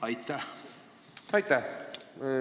Aitäh!